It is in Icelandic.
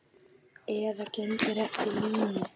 Eða gengur eftir línu.